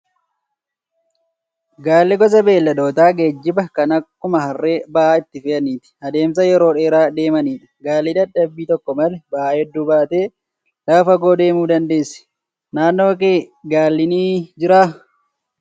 Gaalli gosa beeyladoota geejjibaa kan akkuma harree ba'aa itti fe'atanii adeemsa yeroo dheeraa deemanidha. Gaalli dadhabbii tokko malee ba'aa hedduu baatee lafa fagoo adeemuu dandeessi. Naannoo kee gaalli ni jiraa?